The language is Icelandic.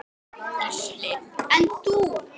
Gísli: En þú?